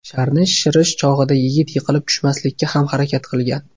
Sharni shishirish chog‘ida yigit yiqilib tushmaslikka ham harakat qilgan.